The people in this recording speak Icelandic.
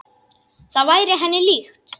Það væri henni líkt.